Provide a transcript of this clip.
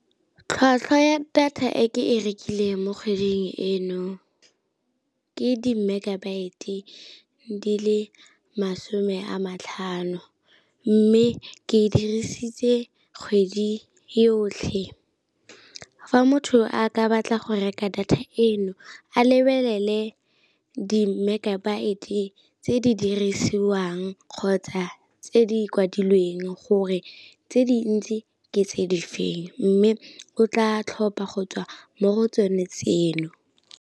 Tlhwatlhwa ya data e ke e rekileng mo kgweding eno ke di-megabyte di le masome a matlhano, mme ke e dirisitse kgwedi yotlhe. Fa motho a ka batla go reka data eno a lebelele di-megabyte tse di dirisiwang kgotsa tse di kwadilweng gore tse dintsi ke tse di feng, mme o tla tlhopha go tswa mo go tsone tseno.